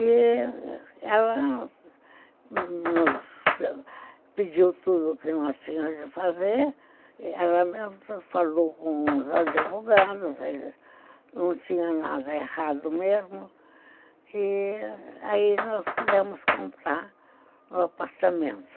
E ela nos pediu tudo o que nós tínhamos de fazer, ela mesmo falou com os advogados, não tinha nada errado mesmo, e aí nós pudemos comprar um apartamento.